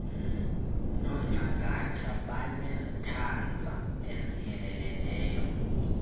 nongcangata banezitanza eziyeleleneyo